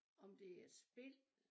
Om det er et spil